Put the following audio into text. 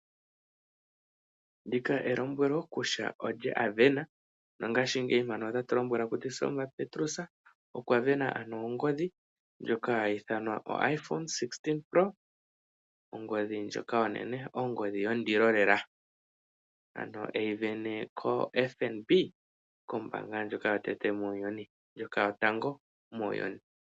Ndika elombwelo kutya olye avena , nongashingeyi mpano otatu lombwelwa kutya Selma Petrus okwa vena ano ongodhi ndjoka hayi ithanwa iPhone 16 pro max oongodhi ndjoka onene ongodhi yondilo lela ,ano eyi vene ko fnb ,kombanda yotango muuyuni.